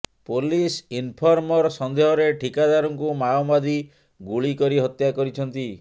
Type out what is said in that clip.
police informer ସନ୍ଦେହରେ ଠିକାଦାରଙ୍କୁ ମାଓବାଦୀ ଗୁଳି କରି ହତ୍ୟା କରିଛନ୍ତି